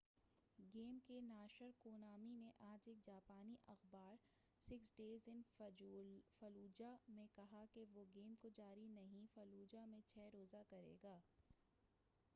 Game کے ناشر Konami نے آج ایک جاپانی اخبار میں کہا ہے کہ وہ six days in fallujah Fallujah میں چھ روزہ گیم کو جاری نہیں کرے گا۔